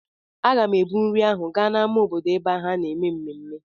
Aga m ebu nri ahụ gaa n'ámá obodo ebe ha na-eme ememme.